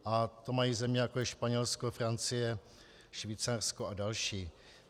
A to mají země, jako je Španělsko, Francie, Švýcarsko a další.